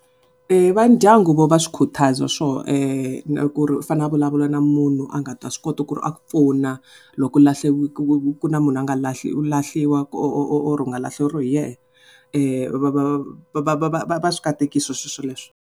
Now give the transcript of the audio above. Va ndyangu vo va swi khutaza swo na ku ri u fane a vulavula na munhu a nga ta swi kota ku ri a ku pfuna loko u ku ri na munhu loyi a or u nga laheriwa hi yena va va va va swi katekisa swilo swoleswo.